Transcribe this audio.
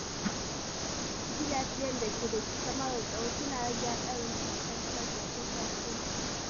Gidajen da ke da kyamarar tsaro suna rage haɗarin fuskantar sace-sace.